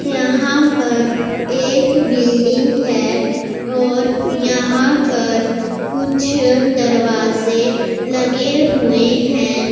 यहां पर एक बिल्डिंग है और यहां पर कुछ दरवाजे लगे हुए हैं।